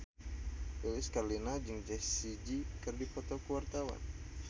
Lilis Karlina jeung Jessie J keur dipoto ku wartawan